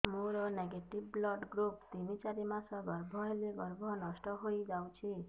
ମୋର negative blood group ତିନ ଚାରି ମାସ ଗର୍ଭ ହେଲେ ଗର୍ଭ ନଷ୍ଟ ହେଇଯାଉଛି